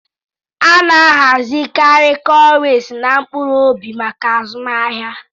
A na-ahazikarị cowries na "mkpuru-obi maka azụmahịa."